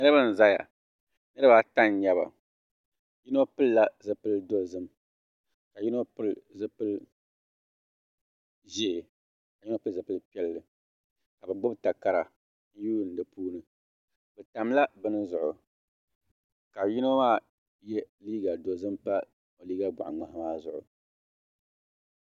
niraba n ʒɛya niraba ata n nyɛba yino pilila zipili dozim ka yino pili zipili ʒiɛ ka yino pili zipili piɛlli ka bi gbubi takara n yuundi di puuni bi tamla bini zuɣu ka yino maa yɛ liiga dozim pa liiga pa liiga boɣa ŋmahi maa zuɣu